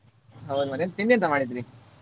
ಹೌದ್ ಮಾರ್ರೆ ಮತ್ತೆ ತಿಂಡಿ ಎಂತ ಮಾಡಿದ್ರಿ?